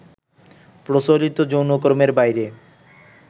প্রচলিত যৌনকর্মের বাইরে